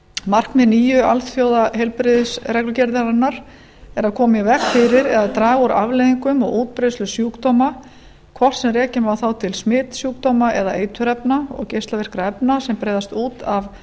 markmið nýju alþjóðaheilbrigðisreglugerðarinnar er að koma í veg fyrir eða að draga úr afleiðingum og útbreiðslu sjúkdóma hvort sem rekja má þá til smitsjúkdóma eða eiturefna og geislavirkra efna sem breiðast út af